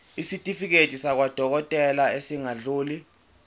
isitifiketi sakwadokodela esingadluli